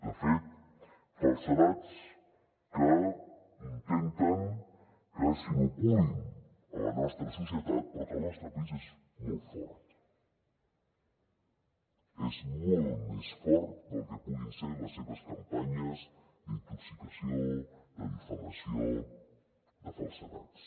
de fet falsedats que intenten que s’inoculin a la nostra societat però que el nostre país és molt fort és molt més fort del que puguin ser les seves campanyes d’intoxicació de difamació de falsedats